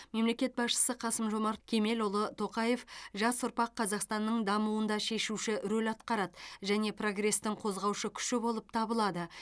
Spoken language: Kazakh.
мемлекет басшысы қасым жомарт кемелұлы тоқаев жас ұрпақ қазақстанның дамуында шешуші рөл атқарады және прогрестің қозғаушы күші болып табылады